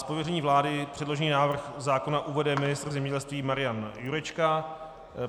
Z pověření vlády předložený návrh zákona uvede ministr zemědělství Marian Jurečka.